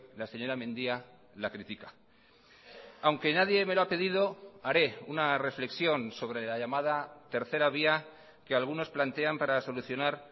la señora mendia la critica aunque nadie me lo ha pedido haré una reflexión sobre la llamada tercera vía que algunos plantean para solucionar